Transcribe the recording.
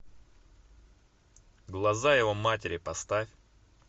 глаза его матери поставь